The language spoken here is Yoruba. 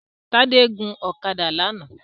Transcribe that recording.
Tádé gun ọ̀kadà lánàá